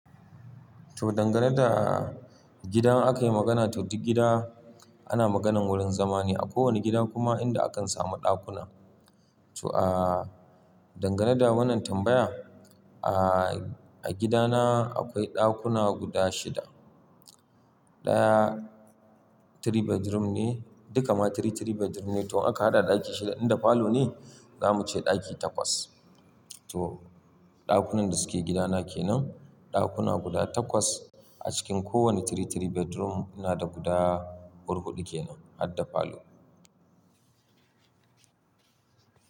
To dangane da gidan aka yi magana, to duk gida ana maganan wurin zama ne, a kowane gida kuma inda akan samu ɗakuna. To dangane da wannan tambayan, a gidana akwai ɗakuna guda shida. Ɗaya three bedroom ne, duka ma three, three bedroom ne to aka hada ɗaki shida inda falo ne zamu ce ɗaki takwas. To ɗakunan da suke gidana kenan, ɗakuna guda takwas a cikin kowane three, three bedroom nada guda hurhuɗu kenan, har da falo.